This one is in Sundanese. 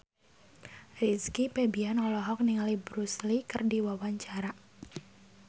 Rizky Febian olohok ningali Bruce Lee keur diwawancara